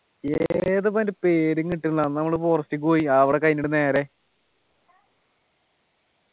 ഏത് മറ്റേ പേരും കിട്ടുന്നില്ല അന്ന് നമ്മള് forest ക്കു പോയി അവിടെ കഴിഞ്ഞിട്ട് നേരെ